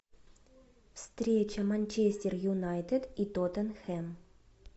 встреча манчестер юнайтед и тоттенхэм